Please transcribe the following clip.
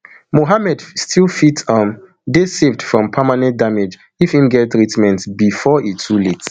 mohammad still fit um dey saved from permanent damage if im get treatment bifor e too late